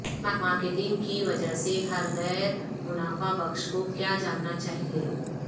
marketing کی وجہ سے ہر غیر منافع بخش کو کیا جاننا چاہئے